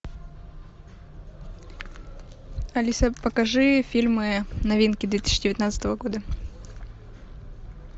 алиса покажи фильмы новинки две тысячи девятнадцатого года